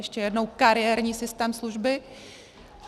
Ještě jednou: kariérní systém služby.